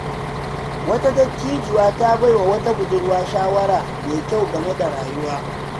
Wata dattijuwa ta bai wa wata budurwa shawara mai kyau game da rayuwa.